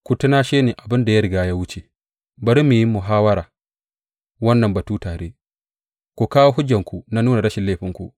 Ku tunashe ni abin da ya riga ya wuce, bari mu yi muhawwara wannan batu tare; ku kawo hujjarku na nuna rashin laifinku.